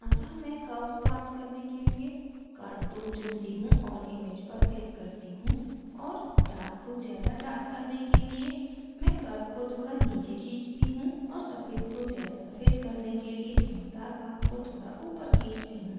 अतः मैं curves प्राप्त करने के लिए curve tool चुनती हूँ और image पर click करती हूँ और dark को ज़्यादा dark करने के लिए मैं curves को थोड़ा नीचे खींचती हूँ और सफ़ेद को ज़्यादा सफ़ेद करने के लिए चमकदार भाग को थोड़ा ऊपर खींचती हूँ